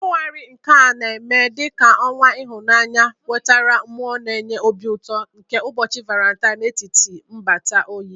Febụwarị, nke a na-eme dị ka ọnwa ịhụnanya, wetara mmụọ na-enye obi ụtọ nke ụbọchị Valentine n'etiti nnabata oyi